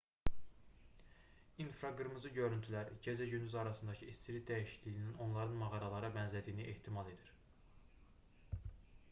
i̇nfraqırmızı görüntülər gecə-gündüz arasındakı istilik dəyişikliyindən onların mağaralara bənzədiyini ehtimal edir